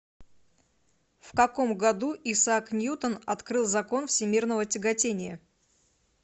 в каком году исаак ньютон открыл закон всемирного тяготения